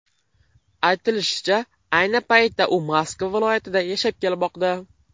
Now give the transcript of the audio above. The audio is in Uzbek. Aytilishicha, ayni paytda u Moskva viloyatida yashab kelmoqda.